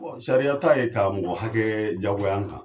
sariya ta ye ka mɔgɔ hakɛ jagoya an kan.